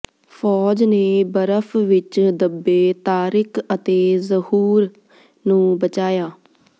ਫੌਜ ਨੇ ਬਰਫ ਵਿੱਚ ਦੱਬੇ ਤਾਰਿਕ ਅਤੇ ਜ਼ਹੂਰ ਨੂੰ ਬਚਾਇਆ